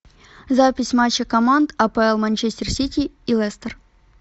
запись матча команд апл манчестер сити и лестер